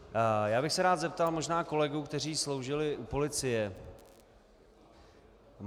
Já bych se rád zeptal možná kolegů, kteří sloužili u policie -